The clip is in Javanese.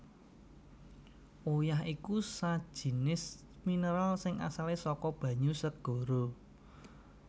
Uyah iku sajinis mineral sing asalé saka banyu segara